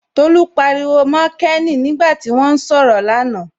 Tolú pariwo mọ Kéènì nígbà tí wọ́n ń sọ̀rọ̀ là na